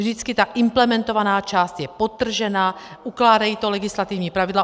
Vždycky ta implementovaná část je podtržená, ukládají to legislativní pravidla.